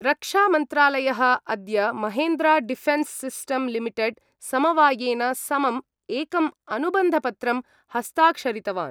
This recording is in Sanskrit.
रक्षामन्त्रालय: अद्य महेन्द्रा-डिफेन्स-सिस्टम-लिमिटेड-समवायेन समं एकं अनुबन्धपत्रं हस्ताक्षरितवान्।